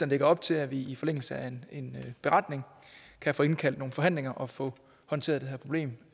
lægger op til at vi i forlængelse af en beretning kan få indkaldt til nogle forhandlinger og få håndteret det her problem